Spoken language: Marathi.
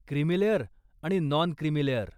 क्रीमी लेअर आणि नॉन क्रिमी लेअर.